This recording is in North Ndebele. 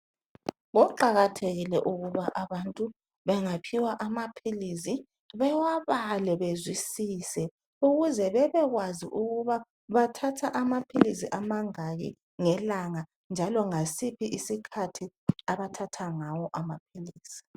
Kuqakathile ukuthi abantu bengaphiwa amaphilisi bewabale bezwisise ukuze bebekwazi ukuba bathatha amaphilisi amangaki ngelanga njalo ngasiphi isikhathi abathatha ngawo amaphilisi